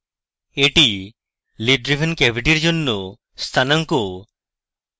এটি lid driven cavity এর জন্য স্থানাঙ্ক